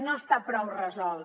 no està prou resolt